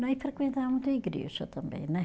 Nós frequentava muito a igreja também, né?